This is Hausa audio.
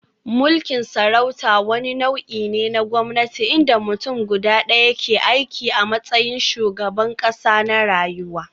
Mulkin sarauta wani nau'i ne na gwamnati inda mutum guda ɗaya, ke aiki a matsayin shugaban ƙasa na rayuwa.